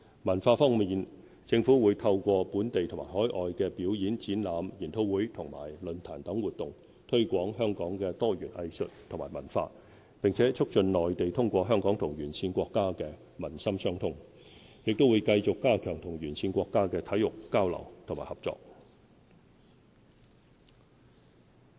文化方面，政府會透過本地和海外的表演、展覽、研討會和論壇等活動，推廣香港的多元藝術及文化，並促進內地通過香港與沿線國家的民心相通，也會繼續加強與沿線國家的體育交流和合作。